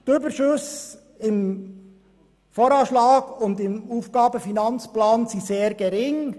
Die Überschüsse im AFP und im VA sind sehr gering.